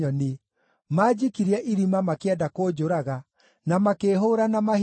Maanjikirie irima makĩenda kũnjũraga, na makĩĩhũũra na mahiga;